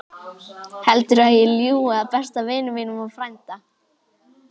Heldurðu að ég ljúgi að besta vini mínum og frænda?